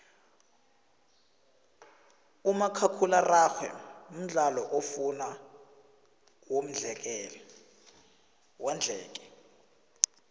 umakhakhula araxhwe mdlalo ofuna wondleke